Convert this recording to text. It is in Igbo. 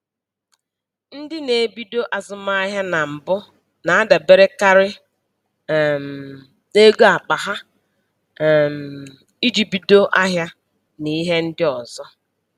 Ndị na-ebido azụmahịa na mbụ na-adaberekarị um n'ego akpa ha um iji bido ahịa na ihe ndị ọzọ.